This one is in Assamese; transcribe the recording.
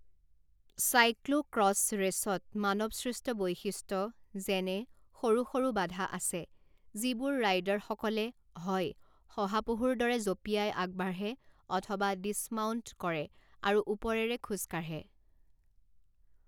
চাইক্ল'ক্ৰছ ৰেচত মানৱসৃষ্ট বৈশিষ্ট্য যেনে সৰু সৰু বাধা আছে যিবোৰ ৰাইডাৰসকলে হয় শহাপহুৰ দৰে জঁপিয়াই আগবাঢ়ে অথবা ডিছমাউন্ট কৰে আৰু ওপৰেৰে খোজ কাঢ়ে।